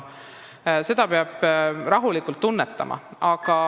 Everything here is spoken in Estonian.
Seda peab rahulikult tunnetama.